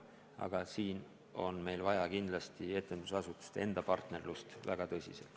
Aga siin on meil kindlasti vaja etendusasutuste enda tõhusat partnerlust.